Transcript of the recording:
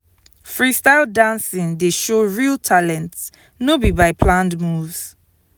freestyle dancing dey show real talent no be by planned moves.